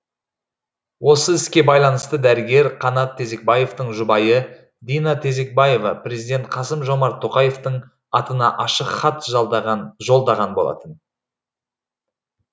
осы іске байланысты дәрігер қанат тезекбаевтың жұбайы дина тезекбаева президент қасым жомарт тоқаевтың атына ашық хат жолдаған болатын